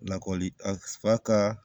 Lakɔli a ka